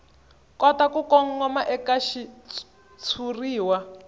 kota ku kongoma eka xitshuriwa